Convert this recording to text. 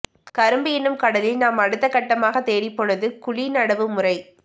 கரும்பு எனும் கடலில் நாம் அடுத்தக் கட்டமாகத் தேடிப்போனது குழி நடவு முறை